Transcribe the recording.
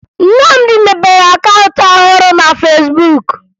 Nnamdị mepere akaụntụ ọhụrụ na Fesbuk